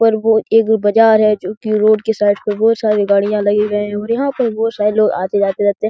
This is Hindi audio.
ऊपर वो एक बाजार है जो कि रोड की साइड पर बहुत सारी गाड़ियाँ लगे गए हुए हैं यहाँ पे बहुत सारे लोग आते-जाते रहते हैं ।